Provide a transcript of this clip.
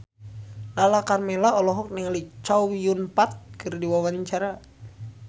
Lala Karmela olohok ningali Chow Yun Fat keur diwawancara